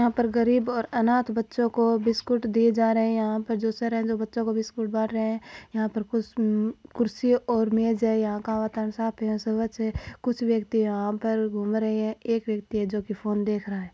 यहाँ पर गरीब और अनाथ बच्चो को बिस्कुट दिये जा रहे है यहा पे जो सर है जो बच्चो को बिस्कुट बाँट रहे है यहा कुछ उ कुर्सी और मेज है यहा का वातावरण साफ है स्वच्छ है कुछ व्यक्ति यहा पर घूम रहे है एक व्यक्ति है जो की फोन देख रहा है।